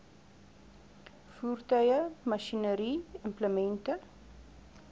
voertuie masjinerie implemente